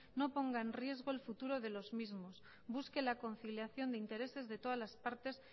no ponga en riesgo el futuro de los mismos busque la conciliación de intereses de todas las partes